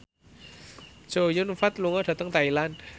Chow Yun Fat lunga dhateng Thailand